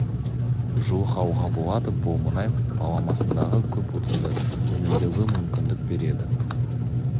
жуық алуға болады бұл мұнай баламасындағы көп отынды үнемдеуге мүмкіндік береді